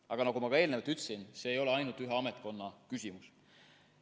Aga nagu ma ka eelnevalt ütlesin, see ei ole ainult ühe ametkonna küsimus.